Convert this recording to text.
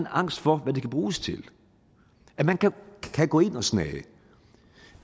angst for hvad det kan bruges til at man kan gå ind og snage